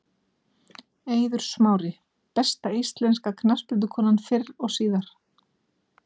Eiður Smári Besta íslenska knattspyrnukonan fyrr og síðar?